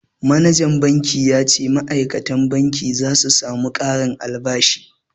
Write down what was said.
Manajan banki ya ce ma'aikatan banki za su samu ƙarin albashi